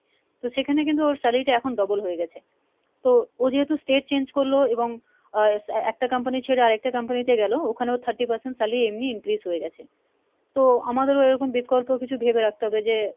তো সেখানে কিন্তু ওর salary টা এখন double হয়ে গেছে। তো ও যেহেতু state change করলো এবং আহ একটা company ছেড়ে আরেকটা company তে গেলো ওখানে ওর thirty percent salary এমনিই increase হয়ে গেছে,। তো আমাদেরও এরকম বিৎকল্প কিছু ভেবে রাখতে হবে যে,